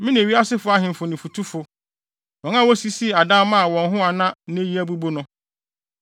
me ne wiase ahemfo ne fotufo, wɔn a wosisii adan maa wɔn ho na nnɛ yi abubu no,